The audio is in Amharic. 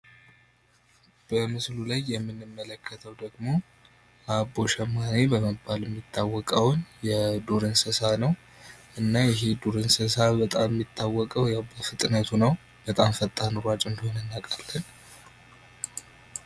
በምስሉ ላይ የምንመለከተው ደግሞ አቦሸማኔ በሚታወቀውን የዱር እንስሳ ነው እና ይሄ የዱር እንስሳ በጣም የሚታወቀው በፍጥነት ነው በጣም ፈጣን ሯጭ እንደሆነ እናውቃለን።